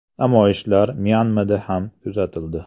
Namoyishlar Myanmada ham kuzatildi.